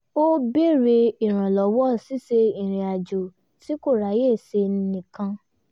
ó béèrè ìrànlọ́wọ́ ṣíṣe irinàjò tí kò ráyè ṣe nìkan